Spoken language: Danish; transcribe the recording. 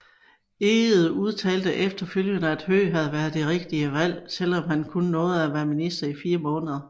Egede udtalte efterfølgende at Høegh havde været et rigtigt valg selvom han kun nåede at være minister i 4 måneder